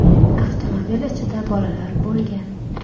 Avtomobil ichida bolalar bo‘lgan.